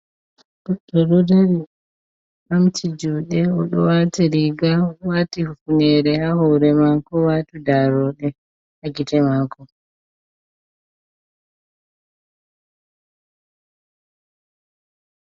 Goɗɗo ɗo dari ɓamti juɗe oɗo wati riga odo wati hifnere ha hore ma ko odo wati darode ha gite maako.